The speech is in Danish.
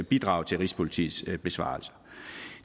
bidrag til rigspolitiets besvarelse